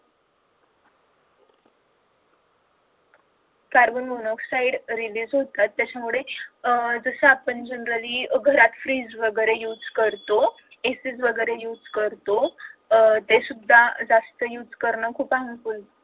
carbon monoxide realize होतात त्याच्यामुळे अह जस आपण generally घरात freeze वैगेरे use करतो इस्त्री वैगेरे use करतो ते सुद्धा use करण जास्त harmful